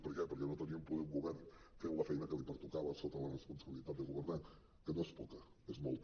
per què perquè no teníem poder un govern fent la feina que li pertocava sota la responsabilitat de governar que no és poca és molta